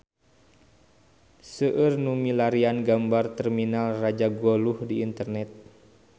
Seueur nu milarian gambar Terminal Rajagaluh di internet